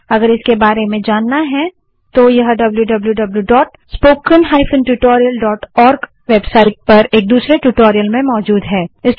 अगर इसके बारे में जानना है तो httpwwwspoken tutorialorg वेबसाइट पर एक दूसरे ट्यूटोरियल में मौजूद है